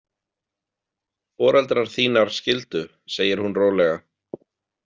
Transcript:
Foreldrar þínar skildu, segir hún rólega.